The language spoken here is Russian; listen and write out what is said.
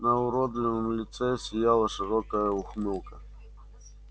на уродливом лице сияла широкая ухмылка